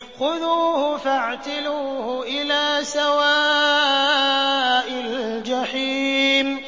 خُذُوهُ فَاعْتِلُوهُ إِلَىٰ سَوَاءِ الْجَحِيمِ